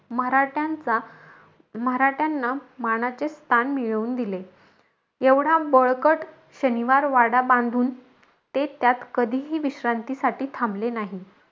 मराठ्यांचा मराठ्यांना मानाचे स्थान मिळवून दिले. एवढा बळकट शनिवारवाडा बांधून, ते त्यात कधीही विश्रांतीसाठी थांबले नाही.